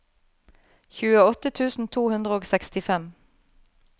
tjueåtte tusen to hundre og sekstifem